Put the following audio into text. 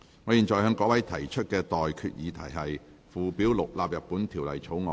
我現在向各位提出的待決議題是：附表6納入本條例草案。